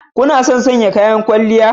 Kuna son sanya kayan kwalliya